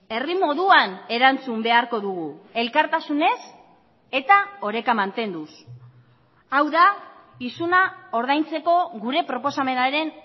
herri moduan erantzun beharko dugu elkartasunez eta oreka mantenduz hau da isuna ordaintzeko gure proposamenaren